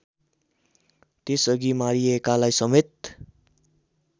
त्यसअघि मारिएकालाई समेत